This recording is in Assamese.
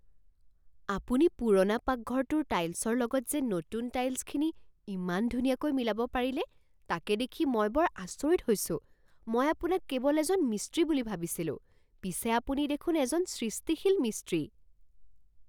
আপুনি পুৰণা পাকঘৰটোৰ টাইলছৰ লগত যে নতুন টাইলছখিনি ইমান ধুনীয়াকৈ মিলাব পাৰিলে তাকে দেখি মই বৰ আচৰিত হৈছোঁ। মই আপোনাক কেৱল এজন মিস্ত্ৰী বুলি ভাবিছিলো পিছে আপুনি দেখোন এজন সৃষ্টিশীল মিস্ত্ৰী।